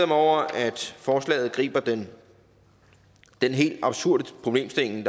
mig over at forslaget angriber den helt absurde problemstilling